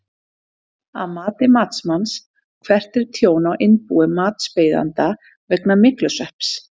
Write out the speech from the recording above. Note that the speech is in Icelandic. Að mati matsmanns, hvert er tjón á innbúi matsbeiðanda vegna myglusvepps?